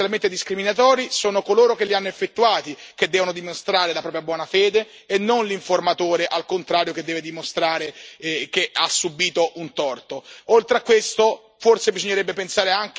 In caso di demansionamenti, in caso di comportamenti potenzialmente discriminatori, sono coloro che li hanno effettuati che devono dimostrare la propria buona fede e non l'informatore, al contrario, che deve dimostrare che ha